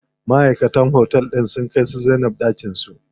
Maʼaikatan otel din sun kai su Zainab ɗakin su.